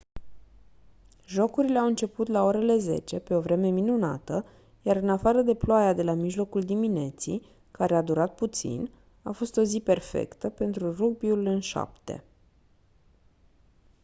jocurile au început la orele 10:00 pe o vreme minunată iar în afară de ploaia de la mijlocul dimineții care a durat puțin a fost o zi perfectă pentru rugbiul în șapte